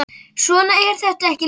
Svona er þetta ekki lengur.